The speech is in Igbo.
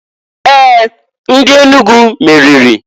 Ee! Ndị Enugu meriri.